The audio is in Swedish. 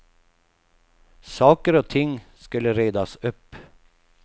Saker och ting skulle redas upp.